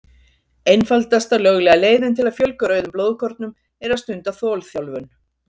Einfaldasta löglega leiðin til að fjölga rauðum blóðkornum er að stunda þolþjálfun.